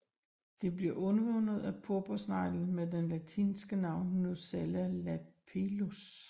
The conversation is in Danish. Det bliver udvundet af purpursneglen med det latinske navn Nucella lapillus